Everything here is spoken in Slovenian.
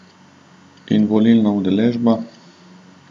In volilna udeležba?